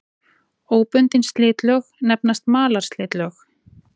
Óbundin slitlög nefnast malarslitlög.